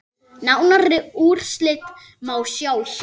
Nánari úrslit má sjá hér.